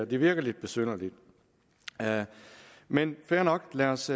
det virker lidt besynderligt men fair nok lad os